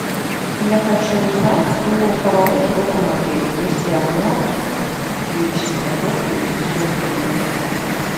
я хочу узнать про караоке в этом отеле есть ли оно какие часы работы и все остальное подробно